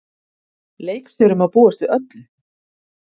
Leikstjóri má búast við öllu.